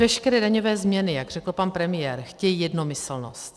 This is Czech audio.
Veškeré daňové změny, jak řekl pan premiér, chtějí jednomyslnost.